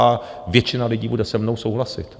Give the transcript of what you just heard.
A většina lidí bude se mnou souhlasit.